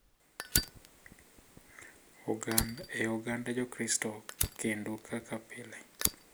E Oganda Jokristo kendo kaka pile,